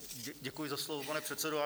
Děkuji za slovo, pane předsedo.